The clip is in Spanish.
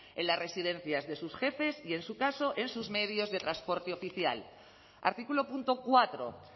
en las residencias de sus jefes y en su caso en sus medios de transporte oficial artículo punto cuatro